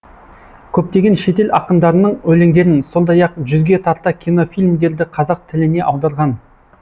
көптеген шетел ақындарының өлеңдерін сондай ақ жүзге тарта кинофильмдерді қазақ тіліне аударған